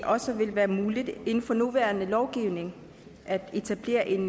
også vil være muligt inden for den nuværende lovgivning at etablere et